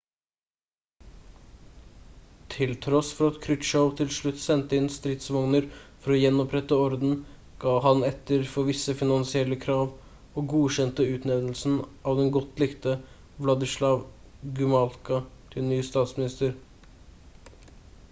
til tross for at krutsjov til slutt sendte inn stridsvogner for å gjenopprette orden gav han etter for visse finansielle krav og godkjente utnevnelsen av den godt likte wladyslaw gomulka til ny statsminister